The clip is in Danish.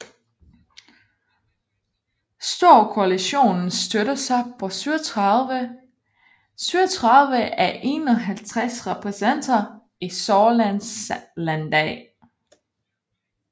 Storkoalitionen støtter sig på 37 af 51 repræsentanter i Saarlands landdag